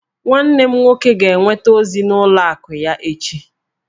Nwanne m nwoke ga-enweta ozi n'ụlọ akụ ya echi